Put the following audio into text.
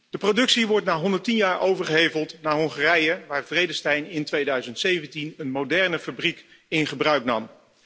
De productie wordt na 110 jaar overgeheveld naar Hongarije, waar Vredestein in 2017 een moderne fabriek in gebruik nam.